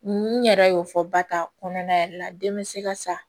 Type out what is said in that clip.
N yɛrɛ y'o fɔ ba ta kɔnɔna yɛrɛ la den bɛ se ka sa